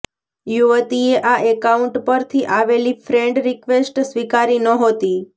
યુવતીએ આ એકાઉન્ટ પરથી આવેલી ફ્રેન્ડ રિક્વેસ્ટ સ્વીકારી નહોતી